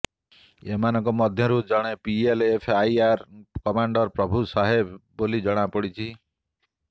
ଏମାନଙ୍କ ମଧ୍ୟରୁ ଜଣେ ପିଏଲଏଫଆଇର କମାଣ୍ଡର ପ୍ରଭୁ ସହେବ ବୋଲି ଜଣାପଡ଼ିଛି